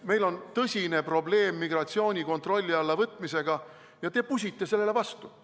Meil on tõsine probleem migratsiooni kontrolli alla võtmisega ja te pusite sellele vastu.